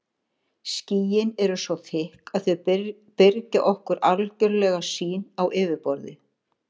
Skýin eru svo þykk að þau byrgja okkur algjörlega sýn á yfirborðið.